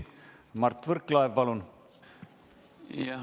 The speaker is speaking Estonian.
Mart Võrklaev, palun!